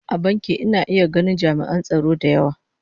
A bankin ina iya ganin ami'an tsaro da yawa